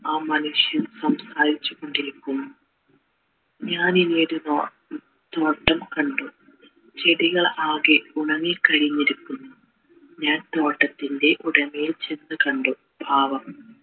ആ മനുഷ്യൻ കൊണ്ടിരിക്കുന്നു ഞാനിന്നൊരു ന്നോ തോട്ടം കണ്ടു ചെടികൾ ആകെ ഉണങ്ങി ക്കഴിഞ്ഞിരിക്കുന്നു ഞാൻ തോട്ടത്തിൻ്റെ ഉടമയെ ചെന്ന് കണ്ടു പാപം